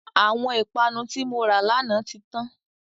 Àwọn ìpanu tí mora lànà tí tán.